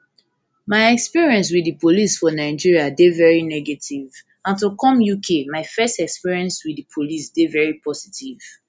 my experience wit di police for nigeria dey veri negative and to come uk my first experience wit di police dey veri positive